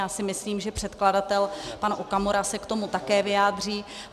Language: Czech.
Já si myslím, že předkladatel pan Okamura se k tomu také vyjádří.